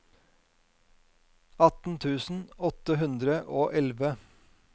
atten tusen åtte hundre og elleve